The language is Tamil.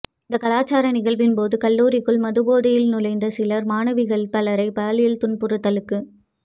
இந்த கலாச்சார நிகழ்வின் போது கல்லூரிக்குள் மது போதையில் நுழைந்த சிலர் மாணவிகள் பலரை பாலியல் துன்புறுத்தலுக்கு